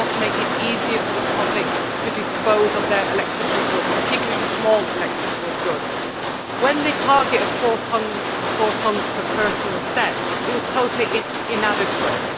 We have got to make it easier for the public to dispose of their electrical goods, and particularly small electrical goods. When the target of four tonnes per person was set, it was totally inadequate.